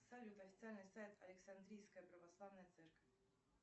салют официальный сайт александрийская православная церковь